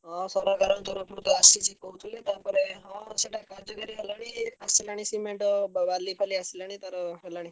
ହଁ ସରକାରଙ୍କ ତରଫରୁ ତ ଆସିଛି କହୁଥିଲେ ତାପରେ ହଁ ସେଇଟା କାର୍ଯ୍ୟକାରୀ ହେଲାଣି ଆସିଲାଣି cement ବାଲିଫାଲି ଆସିଲାଣି ତାର ହେଲାଣି।